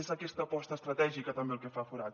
és aquesta aposta estratègica també el que fa forat